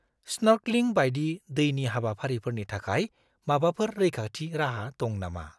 Snorkelling बायदि दैनि हाबाफारिफोरनि थाखाय माबाफोर रैखाथि राहा दं नामा?